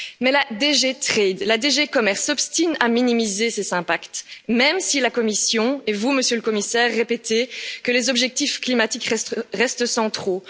Mais la DG Trade, la DG commerce, s'obstine à minimiser ces impacts, même si la Commission et vous, Monsieur le Commissaire, répétez que les objectifs climatiques restent centraux.